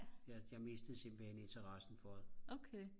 jeg mistede simpelthen interessen for det